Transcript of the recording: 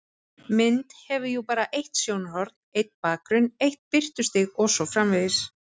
Mynd hefur jú bara eitt sjónarhorn, einn bakgrunn, eitt birtustig og svo framvegis.